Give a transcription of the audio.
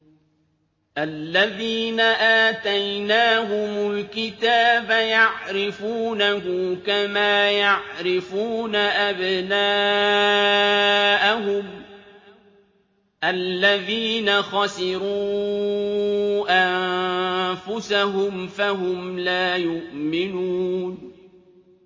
الَّذِينَ آتَيْنَاهُمُ الْكِتَابَ يَعْرِفُونَهُ كَمَا يَعْرِفُونَ أَبْنَاءَهُمُ ۘ الَّذِينَ خَسِرُوا أَنفُسَهُمْ فَهُمْ لَا يُؤْمِنُونَ